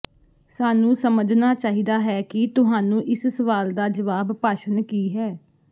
ਸਾਨੂੰ ਸਮਝਣਾ ਚਾਹੀਦਾ ਹੈ ਕਿ ਤੁਹਾਨੂੰ ਇਸ ਸਵਾਲ ਦਾ ਜਵਾਬ ਭਾਸ਼ਣ ਕੀ ਹੈ